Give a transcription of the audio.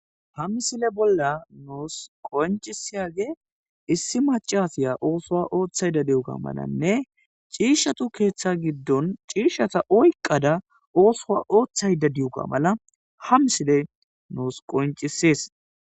Hamisile bolla nuus qoncisiyage issi macasiya oosoa ooththayda diuka malanne ciishatu keeththa giddon ciishshata oyqada oosoa ooththayda diyuka mala hamsile nuus qoncisees